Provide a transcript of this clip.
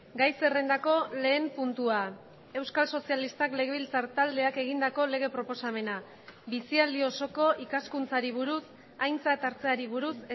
gai zerrendako lehen puntua euskal sozialistak legebiltzar taldeak egindako lege proposamena bizialdi osoko ikaskuntzari buruz aintzat hartzeari buruz